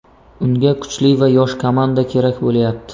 Unga kuchli va yosh komanda kerak bo‘lyapti.